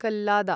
कल्लादा